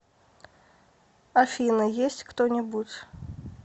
афина есть кто нибудь